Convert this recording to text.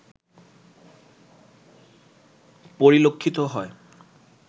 পরিলক্ষিত হয়